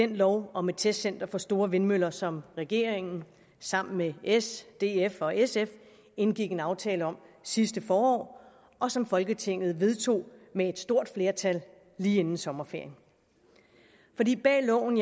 lov om et testcenter for store vindmøller som regeringen sammen med s df og sf indgik en aftale om sidste forår og som folketinget vedtog med et stort flertal lige inden sommerferien bag loven